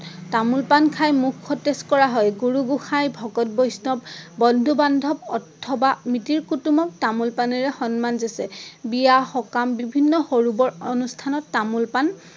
তামোল পাণ খাই মুখ সতেজ কৰা হয়। গুৰু গোঁসাই, ভকত বৈষ্ণৱ, বন্ধু বান্ধৱ অথবা মিতিৰ কুতুমক তামোল পাণেৰে সন্মান যাচে। বিয়া সকাম বিভিন্ন সৰু বৰ অনুষ্ঠানত তামোল পাণ